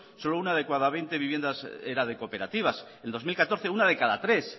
solo una de cada veinte viviendas era de cooperativas en dos mil catorce una de cada tres